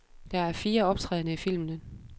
Der er fire optrædende i filmen.